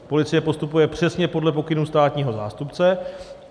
Policie postupuje přesně podle pokynů státního zástupce.